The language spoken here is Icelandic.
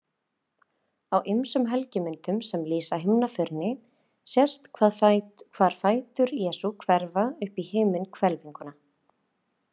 Á ýmsum helgimyndum sem lýsa himnaförinni sést hvar fætur Jesú hverfa upp í himinhvelfinguna.